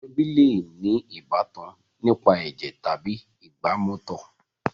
Àwọn ẹbí le ní ìbátan nípa ẹ̀jẹ̀ tàbí ìgbàmọtọ̀.